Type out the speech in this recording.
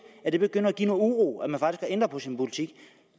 at det begynder at give noget uro at man faktisk har ændret på sin politik